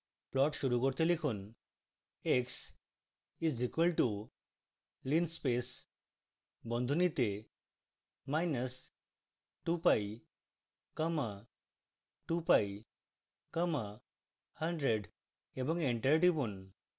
plot শুরু করতে লিখুন: x is equal to linspace বন্ধনীতে minus 2pi comma 2pi comma 100 এবং enter টিপুন